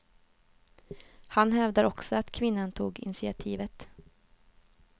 Han hävdar också att kvinnan tog initiativet.